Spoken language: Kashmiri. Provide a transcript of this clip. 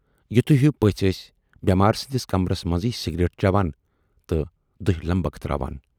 یِتھۍ ہِوِۍ پٔژھۍ ٲسۍ بیمارِ سٕندِس کمرٕس منزٕے سِگریٹ چٮ۪وان تہٕ دِہہِ لمبکھ تراوان۔